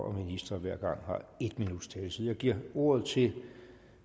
og minister hver gang har en minuts taletid jeg giver ordet til